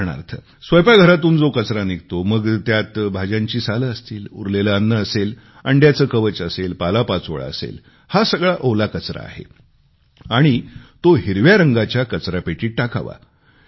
उदाहरणार्थ स्वयंपाकघरातून जो कचरा निघतो मग त्यात भाज्यांची साले असतील उरलेले अन्न असेल अंड्याचे कवच असेल पालापाचोळा असेल हा सगळा ओला कचरा आहे आणि तो हिरव्या रंगाच्या कचरापेटीत टाकावा